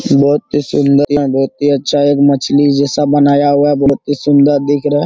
बहुत ही सुन्दर है बहुत ही अच्छा एक मछली जैसा बनाया हुआ है बहुत ही सुन्दर दिख रहा है।